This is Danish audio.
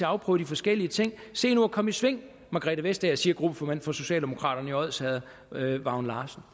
afprøve de forskellige ting se nu at komme i sving margrethe vestager siger gruppeformanden for socialdemokraterne i odsherred vagn larsen